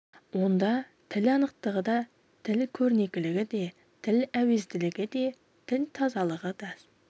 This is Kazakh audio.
онда тіл анықтығы да тіл көрнекілігі де тіл әуезділігі де тіл тазалығы да сс